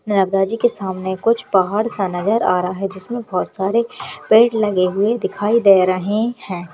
नरब्दाजी के सामने कुछ पहाड़ सा नजर आ रहा है जिसमें बहोत सारे पेड़ लगे हुए दिखाई दे रहे हैं।